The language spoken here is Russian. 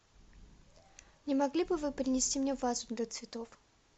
не могли бы вы принести мне вазу для цветов